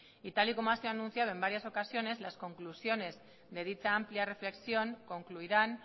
y tal y como ha sido anunciado en varias ocasiones las conclusiones de dicha amplia reflexión concluirán